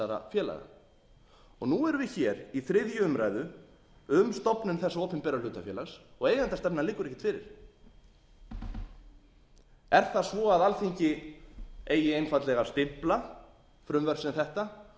félaga nú erum við hér í þriðju umræðu um stofnun þessa opinbera hlutafélags og eigendastefnan liggur ekkert fyrir er það svo að alþingi eigi einfaldlega að stimpla frumvörp sem þetta